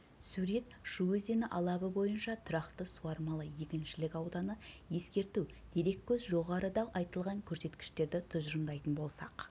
сурет шу өзені алабы бойынша тұрақты суармалы егіншілік ауданы ескерту дереккөз жоғарыда айтылған көрсеткіштерді тұжырымдайтын болсақ